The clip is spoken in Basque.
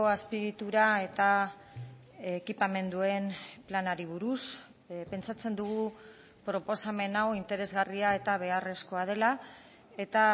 azpiegitura eta ekipamenduen planari buruz pentsatzen dugu proposamen hau interesgarria eta beharrezkoa dela eta